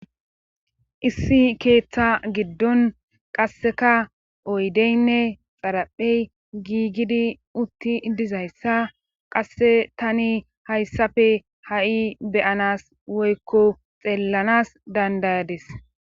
issi keeththa giddon qasseka oydeynne xaraphey giigidi utti dizayssa qasse tani hayssafe ha7i beyanas woykko xeellanas dandayades